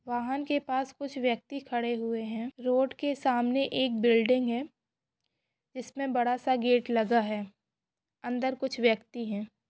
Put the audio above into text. वाहन के पास कुछ व्यक्ति खड़े हुए है। रोड के सामने एक बिल्डिंग है इसमें बड़ा सा गेट लगा है अंदर कुछ व्यक्ति है।